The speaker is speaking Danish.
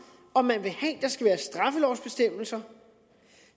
om man vil have der skal være straffelovsbestemmelser